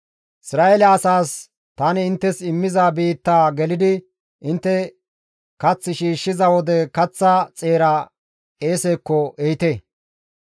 «Isra7eele asaas tani inttes immiza biittaa gelidi intte kath shiishshiza wode kaththa xeera qeesekko ehite.